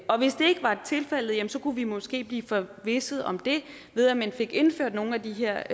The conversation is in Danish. var tilfældet kunne vi måske blive forvisset om det ved at man fik indført nogle af de her